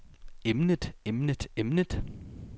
emnet emnet emnet